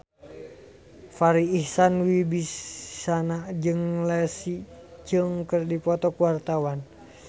Farri Icksan Wibisana jeung Leslie Cheung keur dipoto ku wartawan